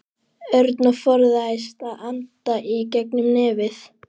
Örn og forðaðist að anda í gegnum nefið.